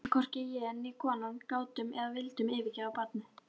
En hvorki ég né konan gátum eða vildum yfirgefa barnið.